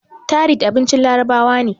tharid abincin larabawa ne